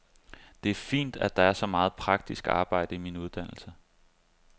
Det er fint, at der er så meget praktisk arbejde i min uddannelse.